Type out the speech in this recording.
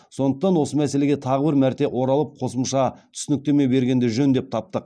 сондықтан осы мәселеге тағы бір мәрте оралып қосымша түсініктеме бергенді жөн деп таптық